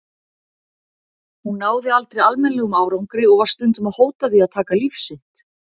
Hún náði aldrei almennilegum árangri og var stundum að hóta því að taka líf sitt.